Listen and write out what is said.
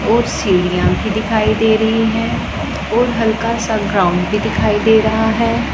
और सीढ़ियां भी दिखाई दे रही हैं और हल्का सा ग्राउंड भी दिखाई दे रहा है।